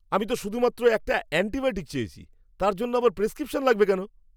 আমি তো শুধুমাত্র একটা অ্যান্টিবায়োটিক চেয়েছি! তার জন্য আবার প্রেসক্রিপশন লাগবে কেন?